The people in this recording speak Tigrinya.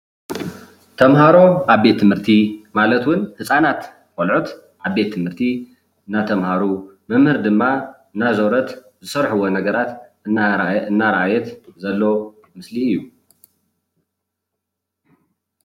ተማሃሮ ኣብ ቤት ትምህርቲ ማለት እውን ህፃናት ቆልዑት ኣብ ቤት ትምህርቲ እንዳተማሃሩ መምህር ድማ እንዳዘወረት ዝሰርሕዎ ነገራት እና እናረአየት ዘርኢ ምስሊ እዩ፡፡